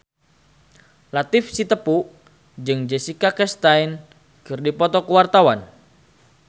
Latief Sitepu jeung Jessica Chastain keur dipoto ku wartawan